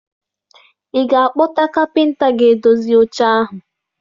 Ị ga-akpọta kapịnta ga-edozi oche ahụ?